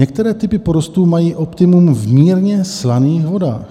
některé typy porostů mají optimum v mírně slaných vodách.